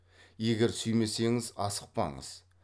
егер сүймесеңіз асықпаңыз